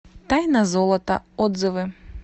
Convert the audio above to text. тайна золота отзывы